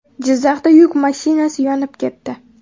Jizzaxda yuk mashinasi yonib ketdi.